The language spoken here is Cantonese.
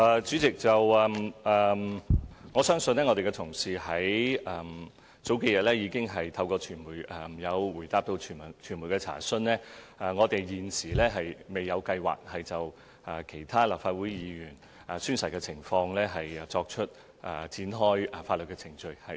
主席，我的同事在數日前答覆傳媒查詢時，已表示我們現時未有計劃就其他立法會議員宣誓的情況展開法律程序。